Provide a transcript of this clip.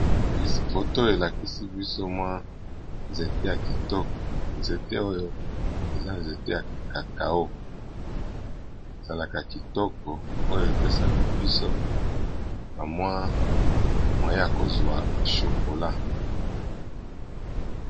Foto elakisi biso mwa nzete ya kitoko nzete oyo eza nzete ya cacao esalaka kitoko oyo epesaka biso bamwa mwye ya kozwa chokola.